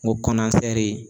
N ko